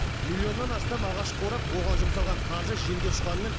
миллионнан астам ағаш қурап оған жұмсалған қаржы желге ұшқанымен